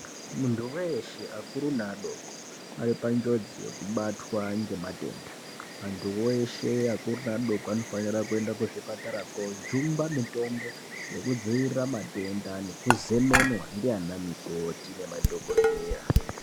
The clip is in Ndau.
Muntu weshe akuru neadoko aripanjodzi yekubatwa nematenda. Antuwo eshe akuru neadoko anofanira kuzvipatara kojungwa mutombo yekudzivirira matenda nekuzemenwa ndiana mukati nemadhokodheya.